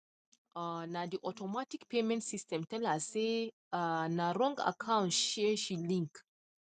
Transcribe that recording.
um na the automatic payment system tell her say um na wrong account um she link